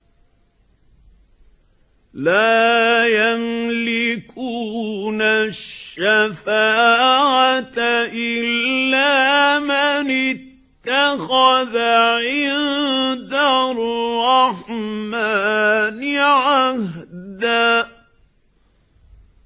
لَّا يَمْلِكُونَ الشَّفَاعَةَ إِلَّا مَنِ اتَّخَذَ عِندَ الرَّحْمَٰنِ عَهْدًا